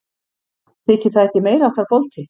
Þykir það ekki meiriháttar bolti?